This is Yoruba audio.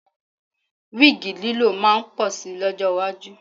Wíìgì lílò máa pọ̀ si lọ́jọ́ iwájú